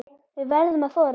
Við verðum að þora.